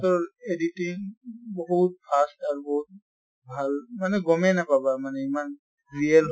তৰ editing বহুত fast আৰু বহুত ভাল মানে গমে নাপাবা মানে ইমান real